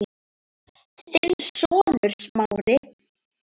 Þinn sonur, Smári.